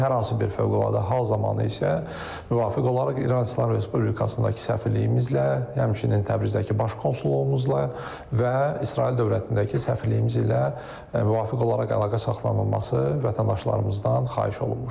Hər hansı bir fövqəladə hal zamanı isə müvafiq olaraq İran İslam Respublikasındakı səfirliyimizlə, həmçinin Təbrizdəki baş konsulluğumuzla və İsrail dövlətindəki səfirliyimiz ilə müvafiq olaraq əlaqə saxlanılması vətəndaşlarımızdan xahiş olunmuşdur.